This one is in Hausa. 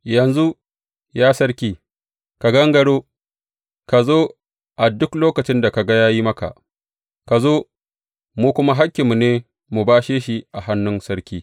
Yanzu, ya sarki, ka gangaro, ka zo a duk lokacin da ka ga ya yi maka, ka zo mu kuma hakkinmu ne mu bashe shi a hannun sarki.